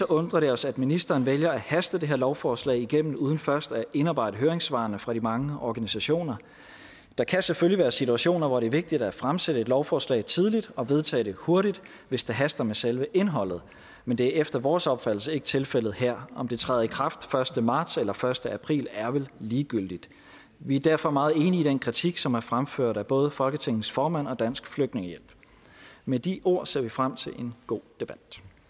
undrer det os at ministeren vælger at haste det her lovforslag igennem uden først at indarbejde høringssvarene fra de mange organisationer der kan selvfølgelig være situationer hvor det er vigtigt at fremsætte et lovforslag tidligt og vedtage det hurtigt hvis det haster med selve indholdet men det er efter vores opfattelse ikke tilfældet her om det træder i kraft første marts eller første april er vel ligegyldigt vi er derfor meget enige i den kritik som er fremført af både folketingets formand og dansk flygtningehjælp med de ord ser vi frem til en god debat